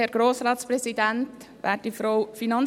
Kommissionspräsidentin der JuKo.